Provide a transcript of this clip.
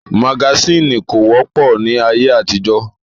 Magasínì kò wọ́pọ̀ ní ayé àtijọ́